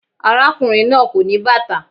Arákùnrin náà kò ní bàtà.